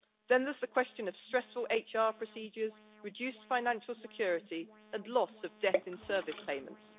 Then there is the question of stressful HR procedures, reduced financial security and loss of death in service payments.